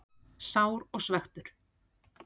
Sár og svekktur.